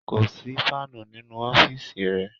Ko si fàànu ninu ọfiisi rẹ